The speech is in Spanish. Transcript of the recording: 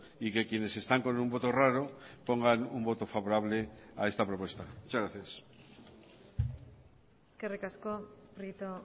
y que quienes están con un voto raro pongan un voto favorable a esta propuesta muchas gracias eskerrik asko prieto